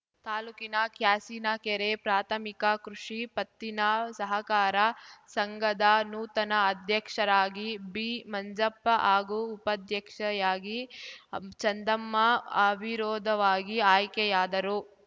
ತಾಲೂಕಿನ ಕ್ಯಾಸಿನಕೆರೆ ಪ್ರಾಥಮಿಕ ಕೃಷಿ ಪತ್ತಿನ ಸಹಕಾರ ಸಂಘದ ನೂತನ ಅಧ್ಯಕ್ಷರಾಗಿ ಬಿ ಮಂಜಪ್ಪ ಹಾಗೂ ಉಪಾಧ್ಯಕ್ಷೆಯಾಗಿ ಚಂದಮ್ಮ ಅವಿರೋಧವಾಗಿ ಆಯ್ಕೆಯಾದರು